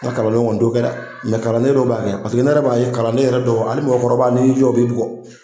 Nga kalanlenw kɔni t'o kɛ dɛ mɛ kalanden dɔ b'a kɛ paseke ne yɛrɛ b'a ye kalanden yɛrɛ dɔw ali mɔgɔkɔrɔba' ni y'i o b'i jɔ bugɔ